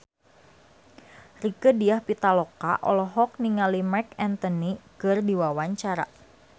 Rieke Diah Pitaloka olohok ningali Marc Anthony keur diwawancara